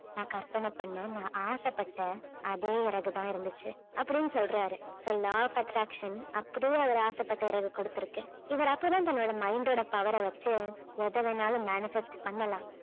நான் கற்பனை பண்ண நான் ஆசைப்பட்ட அதே இறகு தான் இருந்துச்சு அப்படின்னு சொல்றாரு so law of attraction அப்படியே அவர் ஆசைப்பட்ட இறகை கொடுத்திருக்கு. இவர் அப்பதான் தன்னுடைய mind ஓட power அ வச்சி எத வேணும்னாலும் manifest பண்ணலாம்